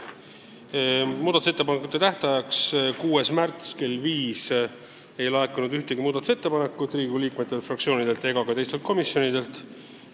Muudatusettepanekute esitamise tähtajaks 6. märtsil kell viis ei laekunud ühtegi muudatusettepanekut Riigikogu liikmetelt, fraktsioonidelt ega teistelt komisjonidelt.